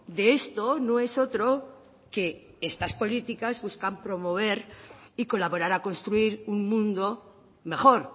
de esto no es otro que estas políticas buscan promover y colaborar a construir un mundo mejor